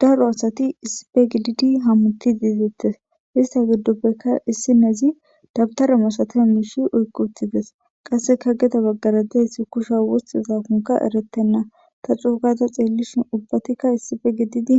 Daro asati issippe gididi hamutidi bettes ista gidoppe issonizi dawtara daniza mishe oyqi utidees qasikka gedebagara dizayssi kusha wotiyakokka eretena ta cogada xelishin ubbatika issipe